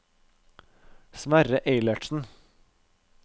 Sverre Eilertsen